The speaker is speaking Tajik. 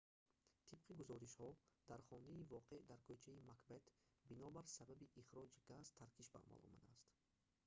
тибқи гузоришҳо дар хонаи воқеъ дар кӯчаи макбет бинобар сабаби ихроҷи газ таркиш ба амал омадааст